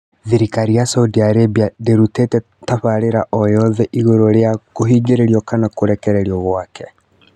Thirikari ya Saudi Arabia ndĩrutĩte tabarĩra oyothe igũrũ rĩa kũhingĩrĩrio kana kũrekererio gwake